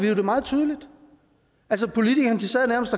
jo meget tydeligt politikerne sad nærmest